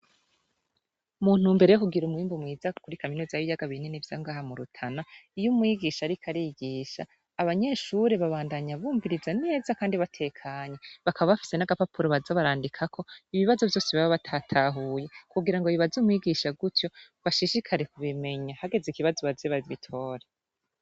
Muntumbero yokugira umwimbu mwiza kuri Kaminuza yibiyaga binini vyo ngaha murutana iyi Umwigisha ariko arigisha abanyeshure babandanya bumviriza neza kandi batekanye bakaba bafise nagapapuro baza barandikako ibibazo vyose baba batatahuye, kugirango babibaze Umwigisha, gutyo bashishikare kubimenya hageze ikibazo baze babitore.